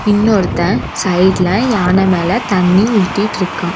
இன்னொருத்தன் சைட்ல யானை மேல தண்ணி ஊத்திட்டுருக்கான்.